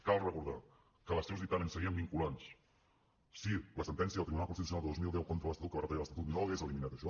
cal recordar que els seus dictàmens serien vinculants si la sentència del tribunal constitucional de dos mil deu contra l’estatut que va retallar l’estatut no hagués eliminat això